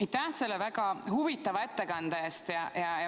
Aitäh selle väga huvitava ettekande eest!